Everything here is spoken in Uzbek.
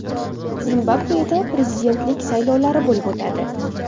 Zimbabveda prezidentlik saylovlari bo‘lib o‘tadi.